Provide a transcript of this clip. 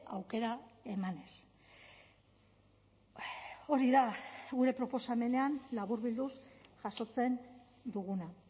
aukera emanez hori da gure proposamenean laburbilduz jasotzen duguna